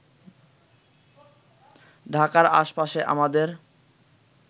ঢাকার আশপাশে আমাদের